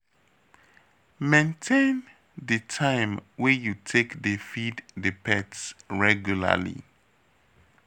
Maintain di time wey you take dey feed di pets regularly